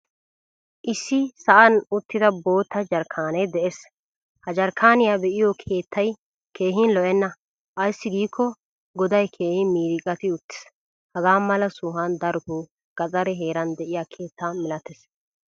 Issi sa'an uttida boottaa jarkkane de'ees. Ha jarkkaniyaa beiyo keettay keehin lo'eenna. Aysi gikko godaay keehin miriqati uttiis. Hagaamala sohuwa daroto gaxaree heeran deiyaa keettaa milattees.